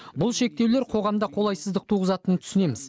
бұл шектеулер қоғамда қолайсыздық туғызатынын түсінеміз